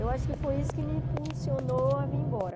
Eu acho que foi isso que me impulsionou a vir embora.